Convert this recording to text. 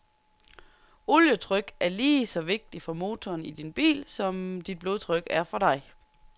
Olietryk er lige så vigtigt for motoren i din bil, som dit blodtryk er for dig.